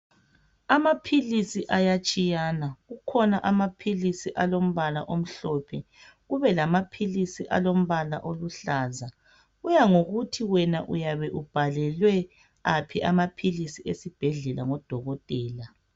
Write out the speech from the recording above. Amaphilisi ayatshiyana kukhona amaphilisi alombala omhlophe kube lamaphilisi alombala oluhlaza kuya ngokuthi wena uyabe ubhalelwe aphi amaphilisi esibhedlela ngodokotela.